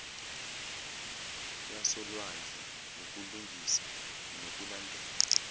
yasolwandle ngukulungisa nokulandela